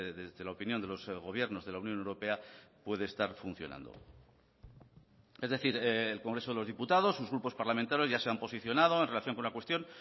desde la opinión de los gobiernos de la unión europea puede estar funcionando es decir el congreso de los diputados sus grupos parlamentarios ya se han posicionado en relación con la cuestión